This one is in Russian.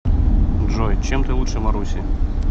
джой чем ты лучше маруси